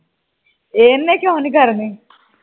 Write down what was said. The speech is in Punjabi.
ਇੰਨੀ ਕਿਉਂ ਨਹੀਂ ਕਰਨੀ